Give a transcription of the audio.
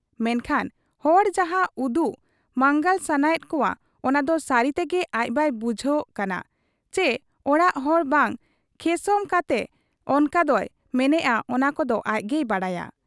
ᱢᱮᱱᱠᱷᱟᱱ ᱦᱚᱲ ᱡᱟᱦᱟᱸ ᱩᱫᱩᱜ ᱢᱟᱸᱜᱟᱞ ᱥᱟᱱᱟᱭᱮᱫ ᱠᱚᱣᱟ ᱚᱱᱟ ᱫᱚ ᱥᱟᱹᱨᱤ ᱛᱮᱜᱮ ᱟᱡ ᱵᱟᱭ ᱵᱩᱡᱷᱟᱹᱣᱜ ᱠᱟᱱᱟ ᱪᱤ ᱦᱚᱲᱟᱜ ᱨᱚᱲ ᱵᱟᱝ ᱠᱷᱮᱥᱚᱢ ᱠᱟᱛᱮ ᱚᱱᱠᱟ ᱫᱚᱭ ᱢᱮᱱᱮᱜ ᱟ ᱚᱱᱟ ᱫᱚ ᱟᱡᱜᱮᱭ ᱵᱟᱰᱟᱭᱟ ᱾